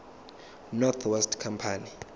north west company